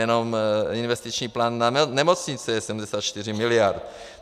Jenom investiční plán na nemocnice je 74 miliard.